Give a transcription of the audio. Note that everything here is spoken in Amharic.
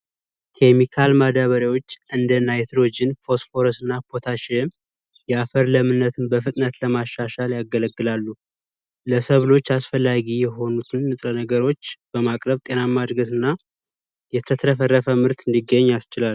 ኬሚካል እንደ ናይትሮጅን ፎስፎረስ እና ፖታሺየም የአፈር ለእምነትን በፍጥነት ለማሻሻል ያገለግላል አስፈላጊ የሆኑት እነጥራ ነገሮች በማቅረብ ጤናማ እድገትና የተትረፈረፈ ምርት እንዲገኝ ያስችላል።